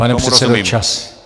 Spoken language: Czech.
Pane předsedo, čas!